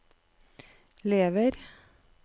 lever